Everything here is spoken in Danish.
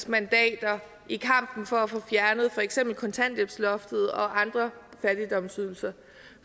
mandater i kampen for at få fjernet for eksempel kontanthjælpsloftet og andre fattigdomsydelser